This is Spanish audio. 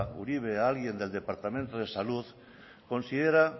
uribe alguien del departamento de salud considera